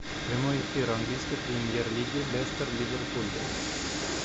прямой эфир английской премьер лиги лестер ливерпуль